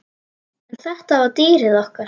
En þetta var dýrið okkar.